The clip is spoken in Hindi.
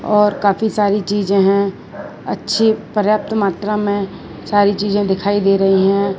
और काफी सारी चीजे हैं अच्छी पर्याप्त मात्रा में सारी चीजे दिखाई दे रही हैं।